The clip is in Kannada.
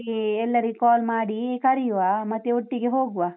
ಹಾಗೆ ಎಲ್ಲರಿಗ್ call ಮಾಡಿ ಕರಿಯುವ, ಮತ್ತೆ ಒಟ್ಟಿಗೆ ಹೋಗುವ.